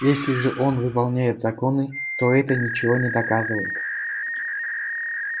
если же он выполняет законы то это ничего не доказывает